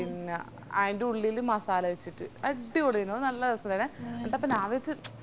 പിന്ന ആയിന്റുള്ളില് മസാല വെച്ചിറ്റ് അടിപൊളിയെനു അത് നല്ല രെസേണ്ടെനെ ന്നിട്ടപ്പോ ഞാവിച്